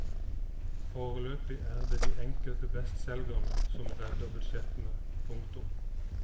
Foreløpig er det de enkelte bestselgerne som redder budsjettene. punktum